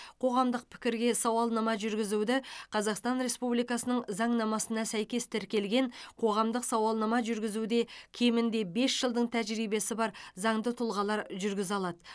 қоғамдық пікірге сауалнама жүргізуді қазақстан республикасының заңнамасына сәйкес тіркелген қоғамдық сауалнама жүргізуде кемінде бес жылдың тәжірибесі бар заңды тұлғалар жүргізе алады